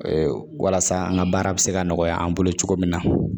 Walasa an ka baara bɛ se ka nɔgɔya an bolo cogo min na